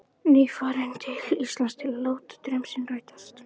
Nýfarinn til Íslands til að láta draum sinn rætast.